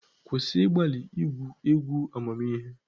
Kwụsị ịgbalị igwu egwu amamihe!